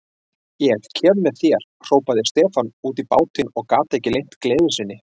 Ég kem með þér, hrópaði Stefán út í bátinn og gat ekki leynt gleði sinni.